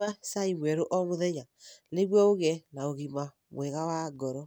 Nyua cai mwerũ o mũthenya nĩguo ũgĩe na ũgima mwega wa ngoro.